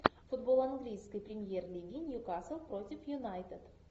футбол английской премьер лиги ньюкасл против юнайтед